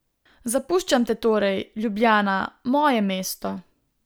Zapuščam te torej, Ljubljana, moje mesto!